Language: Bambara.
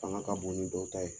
fanga ka bon ni dɔw ta ye.